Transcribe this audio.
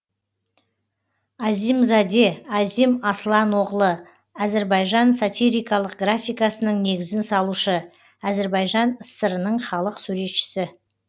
азимзаде азим аслан оғлы әзірбайжан сатирикалық графикасының негізін салушы әзірбайжан сср нің халық суретшісі